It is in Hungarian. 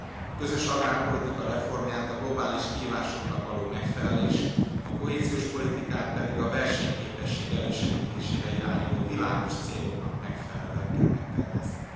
A közös agrárpolitika reformját a globális kihívásoknak való megfelelés, a kohéziós politikát pedig a versenyképesség elősegítésére irányuló világos céloknak megfelelően kell megtervezni.